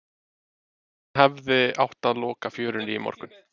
En hefði átt að loka fjörunni í morgun?